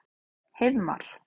Heiðmar